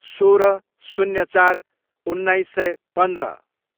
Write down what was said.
सोह्र, शून्य चार, उन्नाइस सय पन्ध्र